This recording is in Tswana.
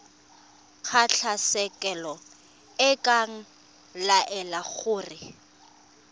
kgotlatshekelo e ka laela gore